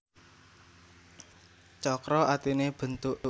Cakra artine bentuke lingkaran kesinambun keserasian